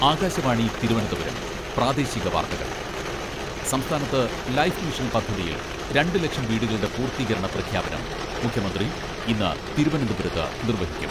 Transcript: ആകാശവാണി തിരുവനന്തപുരം പ്രാദേശിക വാർത്തകൾ സംസ്ഥാനത്ത് ലൈഫ് മിഷൻ പദ്ധതിയിൽ രണ്ടു ലക്ഷം വീടുകളുടെ പൂർത്തീകരണ പ്രഖ്യാപനം മുഖ്യമന്ത്രി ഇന്ന് തിരുവനന്തപുരത്ത് നിർവ്വഹിക്കും.